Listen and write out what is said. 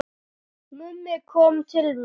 Mummi kom til mín í